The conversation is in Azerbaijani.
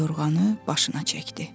yorğanı başına çəkdi.